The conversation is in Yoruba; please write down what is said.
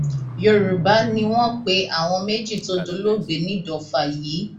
yorùbá ni wọn pe àwọn méjì tó dolóògbé nìdọfà yìí